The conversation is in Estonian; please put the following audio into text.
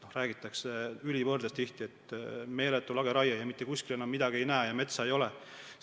Tihti räägitakse justkui ülivõrdes, nagu meil oleks meeletu lageraie, nii et mitte kuskil enam midagi ei näe ja metsa ei ole.